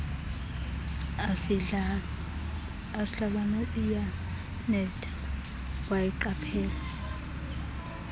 asindlwana iyanetha wayiqaphela